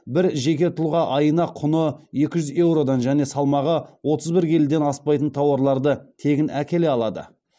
бір жеке тұлға айына құны екі жүз еуродан және салмағы отыз бір келіден аспайтын тауарларды тегін әкеле алады